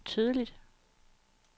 tydeligt